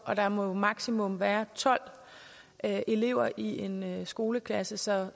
og der må maksimum være tolv elever i en skoleklasse så